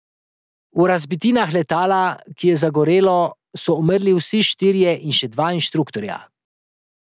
V razbitinah letala, ki je zagorelo, so umrli vsi trije in še dva inštruktorja.